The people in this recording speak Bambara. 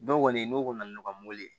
Dɔw kɔni n'o ka na n'u ka mobili ye